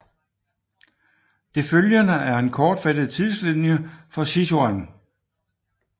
Det følgende er en kortfattet tidslinje for Sichuan